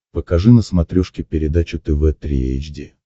покажи на смотрешке передачу тв три эйч ди